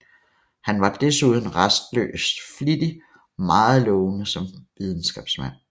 Han var desuden rastløs flittig og meget lovende som videnskabsmand